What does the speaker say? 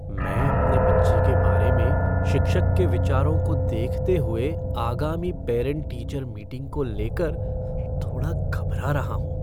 मैं अपने बच्चे के बारे में शिक्षक के विचारों को देखते हुए आगामी पेरेंट टीचर मीटिंग को लेकर थोड़ा घबरा रहा हूँ।